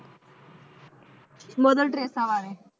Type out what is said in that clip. Mother Teresa ਬਾਰੇ।